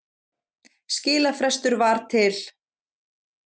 Skilafrestur var til